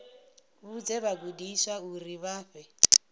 vhudze vhagudiswa uri vha fhe